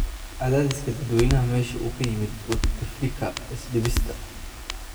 Cadaadiska dadweynaha meesha uu ka yimid Bouteflika is dhiibista?